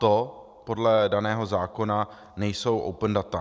To podle daného zákona nejsou open data.